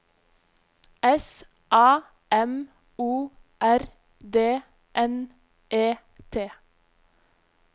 S A M O R D N E T